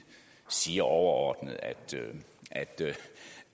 siger overordnet